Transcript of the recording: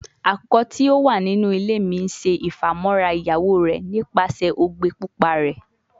Akukọ ti o wa ninu ile mi ṣe ifamọra iyawo rẹ nipasẹ ogbe pupa rẹ